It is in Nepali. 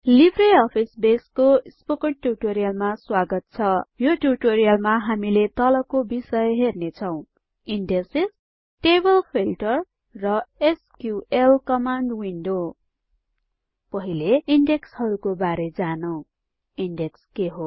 लिब्रे अफिस बेसको स्पोकन ट्युटोरियलमा स्वागत छ यो ट्युटोरियलमा हामीले तलको बिषय हेर्नेछौं इन्डेक्सेस टेबल फिल्टर र एसक्यूएल कमान्ड विन्डो पहिले इन्डेक्स हरुको बारे जानौं इन्डेक्स के हो